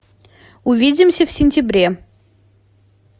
увидимся в сентябре